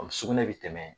sugunɛ bɛ tɛmɛ